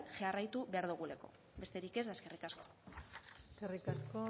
jarraitu behar dugulako besterik ez eskerrik asko eskerrik asko